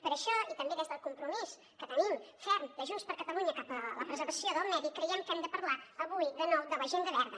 per això i també des del compromís que tenim ferm de junts per catalunya cap a la preservació del medi creiem que hem de parlar avui de nou de l’agenda verda